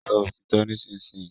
Sọ òtítọ́ nísinsìnyí!